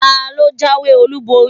talo jawé olubori?